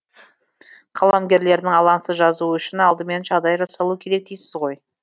қаламгерлердің алаңсыз жазуы үшін алдымен жағдайы жасалу керек дейсіз ғой